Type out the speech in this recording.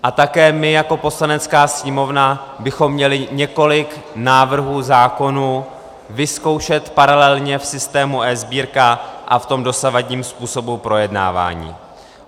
A také my jako Poslanecká sněmovna bychom měli několik návrhů zákonů vyzkoušet paralelně v systému eSbírka a v tom dosavadním způsobu projednávání.